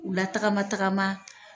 U la tagama tagama.